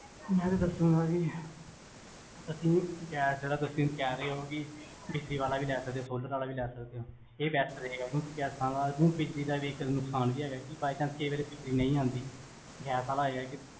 ਮੈਂ ਤੁਹਾਨੂੰ ਦਾਸੁਗਾ ਜੀ, ਅਸੀਂ ਗੈਸ ਜੇਹੜਾ, ਤੁਸੀਂ ਕੇਹਰੇ ਹੋ ਕੀ, ਬਿਜਲੀ ਵਾਲਾ ਵੀ ਲਈ ਸਕਦੇ ਹੋ, solar ਆਲਾ ਵੀ ਲੈ ਸਕਦੇ ਹੋਇਹ ਗੈਸਾਂ ਆਲਾ ਬਿਜਲੀ ਦਾ ਵੀ ਇਕ ਨੁਕਸਾਨ ਵੀ ਹੈਗਾ, ਕੀ by chance ਕਈ ਵਾਰੀ ਬਿਜਲੀ ਨਹੀ ਆਂਦੀ, ਗੈਸ ਆਲਾ ਇਹ ਹੈ ਕੀ,